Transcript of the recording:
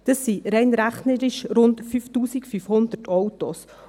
Das sind rein rechnerisch rund 5500 Autos.